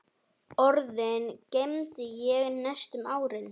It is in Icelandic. Orðin geymdi ég næstu árin.